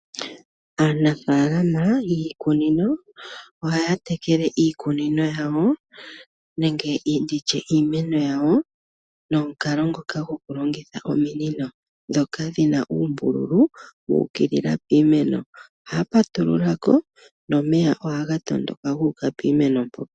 Aanafaalama yiikunino ohaya tekele iikunino yawo nenge ndi tye iimeno ya wo nomukalo ngoka gokulongitha ominino ndhoka dhi na uumbululu wu ukilila piimeno. Ohaya patulula ko nomeya ohaga tondoka gu uka piimeno mpo.